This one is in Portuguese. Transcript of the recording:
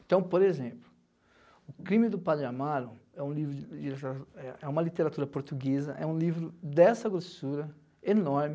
Então, por exemplo, O Crime do Padre Amaro é livro é uma literatura portuguesa, é um livro dessa grossura, enorme.